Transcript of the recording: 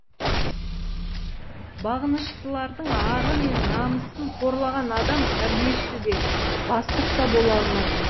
бағыныштылардың ары мен намысын қорлаған адам тәрбиеші де бастық та бола алмайды